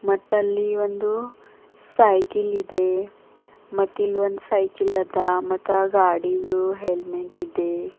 ಮತ್ತಲ್ಲಿ ಒಂದು ಸೈಕಿಲ್ ಇದೆ ಮತ್ತಿಲ್ ಒಂದು ಸೈಕಿಲ್ ಅದ ಮತ್ತಾ ಗಾಡಿದು ಹೆಲ್ಮೆಟ್ ಇದೆ.